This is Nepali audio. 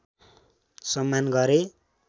सम्मान गरे